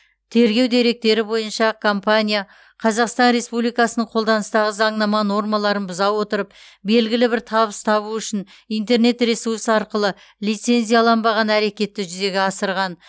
тергеу деректері бойынша компания қазақстан республикасының қолданыстағы заңнама нормаларын бұза отырып белгілі бір табыс табу үшін интернет ресурс арқылы лицензияланбаған әрекетті жүзеге асырған